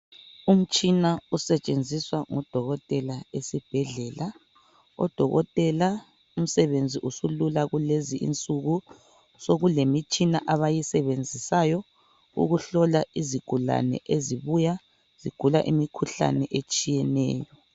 Umtshina osetshenziswa ngodokotela esibhedlela, odokotela umsebenzi usulula kulezi insuku sekule mitshina abayisebenzisayo ukuhlola izigulane ezibuya zigula imikhuhlane etshiyeneyo.